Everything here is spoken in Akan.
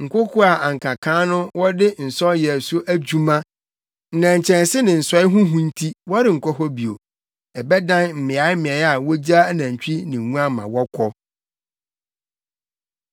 Nkoko a na anka kan no wɔde nsɔw yɛ so adwuma, nnɛnkyɛnse ne nsɔe ho hu nti wɔrenkɔ hɔ bio; ɛbɛdan mmeaemmeae a wogyaa anantwi ne nguan ma wɔkɔ.